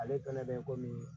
Ale dɔnnen bɛ komi